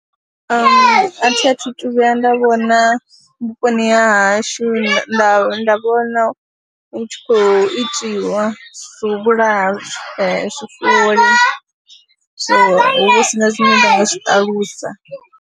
A thi a thu thu vhuya nda vhona vhuponi ha hashu nda nda vhona hu tshi khou itiwa zwo u vhulaha zwifuwo lini, so hu vha hu si na zwine nda nga zwi ṱalusa.